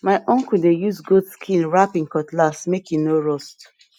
my uncle dey use goat skin wrap em cutlass make e no rust